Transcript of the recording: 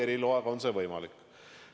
Eriloaga on see võimalik.